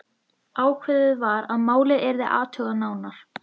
Ákveðið var að málið yrði athugað nánar.